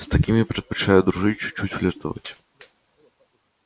с такими предпочитают дружить чуть-чуть флиртовать